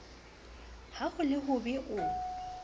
ha ho le hobe o